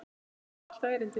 En það á alltaf erindi.